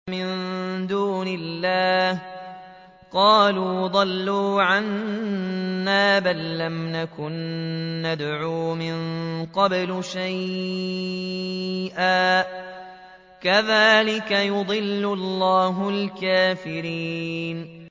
مِن دُونِ اللَّهِ ۖ قَالُوا ضَلُّوا عَنَّا بَل لَّمْ نَكُن نَّدْعُو مِن قَبْلُ شَيْئًا ۚ كَذَٰلِكَ يُضِلُّ اللَّهُ الْكَافِرِينَ